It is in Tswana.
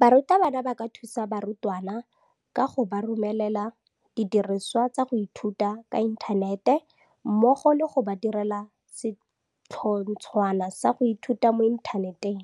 Barutabana ba ka thusa barutwana kago ba romelela didirisiwa tsa go ithuta ka inthanete mmogo le go ba direla setlhotshwana sa go ithuta mo inthaneteng,